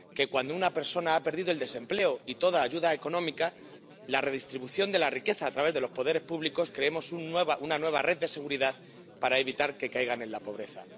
que, cuando una persona ha perdido el desempleo y toda ayuda económica, mediante la redistribución de la riqueza a través de los poderes públicos creemos una nueva red de seguridad para evitar que caigan en la pobreza.